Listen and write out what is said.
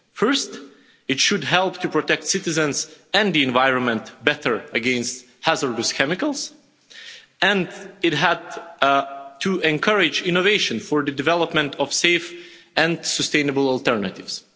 First, it should help to protect citizens and the environment better against hazardous chemicals and it had to encourage innovation for the development of safe and sustainable alternatives.